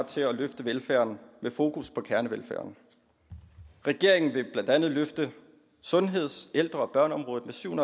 til at løfte velfærden med fokus på kernevelfærden regeringen vil blandt andet løfte sundheds ældre og børneområdet med syv